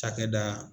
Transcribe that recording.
Cakɛda